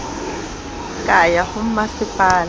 ka ya ho masepala wa